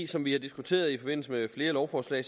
som vi har diskuteret i forbindelse med flere lovforslag